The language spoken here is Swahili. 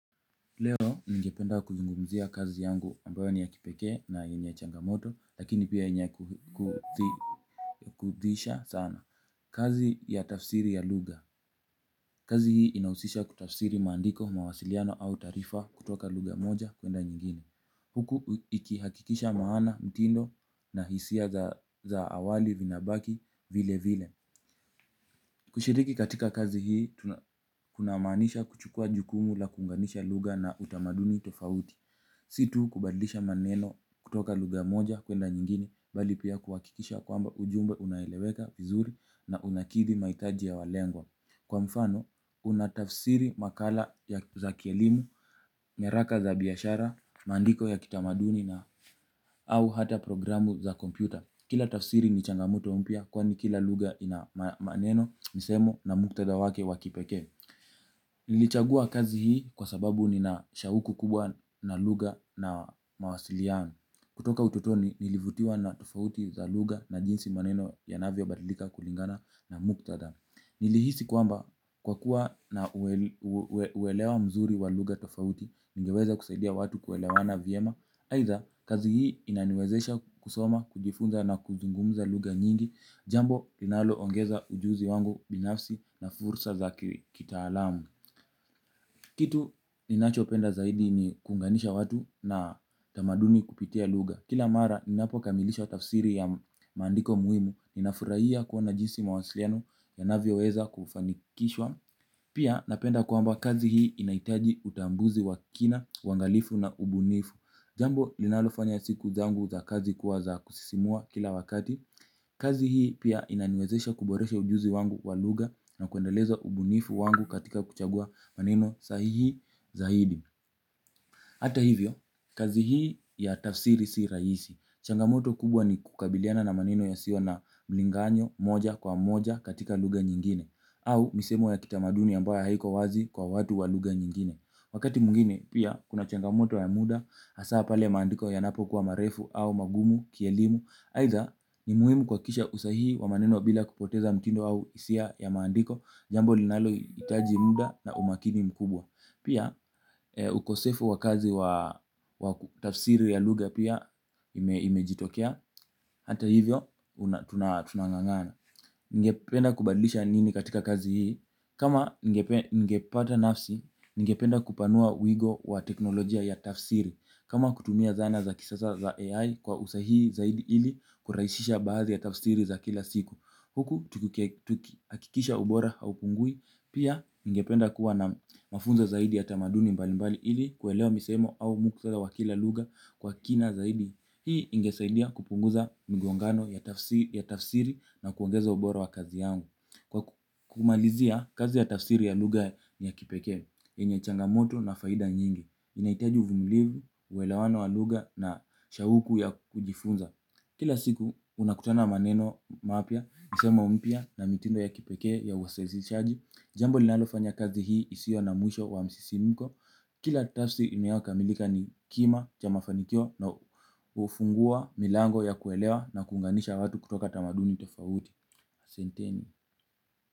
Leo ningependa kuzungumzia kazi yangu ambayo ni ya kipekee na yenye changamoto lakini pia yenye kuudhisha sana. Kazi ya tafsiri ya lugha. Kazi hii inahusisha kutafsiri maandiko mawasiliano au taarifa kutoka lugha moja kuenda nyingine. Huku ikihakikisha maana mtindo na hisia za awali vinabaki vile vile. Kushiriki katika kazi hii kunamaanisha kuchukua jukumu la kuunganisha lugha na utamaduni tofauti. Si tu kubadilisha maneno kutoka lugha moja kwenda nyingine bali pia kuhakikisha kwamba ujumbe unaeleweka vizuri na unakidhi mahitaji ya walengwa. Kwa mfano, unatafsiri makala ya za kielimu, nyaraka za biashara, maandiko ya kitamaduni na au hata programu za kompyuta. Kila tafsiri ni changamoto mpya kwani kila lugha ina maneno misemo na muktadha wake wa kipekee. Nilichagua kazi hii kwa sababu nina shauku kubwa na lugha na mawasiliano. Kutoka utotoni nilivutiwa na tofauti za lugha na jinsi maneno yanavyo badilika kulingana na muktadha. Nilihisi kwamba kwa kuwa na uelewa mzuri wa lugha tofauti. Ningeweza kusaidia watu kuelewana vyema aidha kazi hii inaniwezesha kusoma kujifunza na kuzungumza lugha nyingi. Jambo linalo ongeza ujuzi wangu binafsi na fursa za kitaalamu. Kitu ninachopenda zaidi ni kuunganisha watu na tamaduni kupitia lugha. Kila mara ninapo kamilisha tafsiri ya maandiko muhimu. Ninafurahia kuona jinsi mawasiliano ya navyo weza kufanikishwa. Pia napenda kwamba kazi hii inahitaji utambuzi wa kina, uangalifu na ubunifu. Jambo linalo fanya siku zangu za kazi kuwa za kusisimua kila wakati. Kazi hii pia inaniwezesha kuboresha ujuzi wangu wa lugha na kuendeleza ubunifu wangu katika kuchagua maneno sahihi zaidi hata hivyo, kazi hii ya tafsiri si rahisi. Changamoto kubwa ni kukabiliana na maneno ya siyo na mlinganyo moja kwa moja katika lugha nyingine. Au misemo ya kitamaduni ambayo haiko wazi kwa watu wa lugha nyingine. Wakati mwingine pia kuna changamoto ya muda, hasa pale maandiko yanapo kuwa marefu au magumu, kielimu aidha ni muhimu kuhakikisha usahihi wa maneno bila kupoteza mtindo au hisia ya maandiko. Jambo linalo hitaji muda na umakini mkubwa. Pia ukosefu wa kazi wa tafsiri ya lugha pia imejitokea. Hata hivyo tunangangana. Ningependa kubadilisha nini katika kazi hii. Kama ningepata nafsi, ningependa kupanua wigo wa teknolojia ya tafsiri. Kama kutumia zana za kisasa za AI kwa usahihi zaidi ili kurahisisha baadhi ya tafsiri za kila siku huku tukihakikisha ubora haupungui pia ningependa kuwa na mafunzo zaidi ya tamaduni mbali mbali ili kuelewa misemo au muktadha wa kila lugha kwa kina zaidi. Hii ingesaidia kupunguza mgongano ya tafsiri na kuongeza ubora wa kazi yangu. Kwa kumalizia kazi ya tafsiri ya lugha ni ya kipekee yenye changamoto na faida nyingi. Inahitaji uvumilivu, uelewano wa lugha na shauku ya kujifunza. Kila siku unakutana na maneno mapya misemo mpya na mitindo ya kipekee ya usahihishaji. Jambo linalofanya kazi hii isio na mwisho wa msisimiko. Kila tafsiri inayokamilika ni kima cha mafanikio na hufungua milango ya kuelewa na kuunganisha watu kutoka tamaduni tofauti. Ahsanteni.